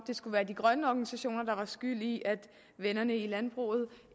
det skulle være de grønne organisationer der er skyld i at vennerne i landbruget